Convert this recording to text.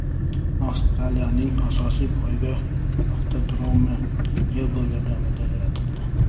Avstraliyaning asosiy poyga avtodromi Lego yordamida yaratildi .